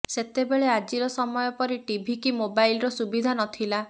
ସେତେବେଳେ ଆଜିର ସମୟ ପରି ଟିଭି କି ମୋବାଇଲର ସୁବିଧା ନଥିଲା